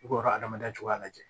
I b'a ka adamadenya cogoya lajɛ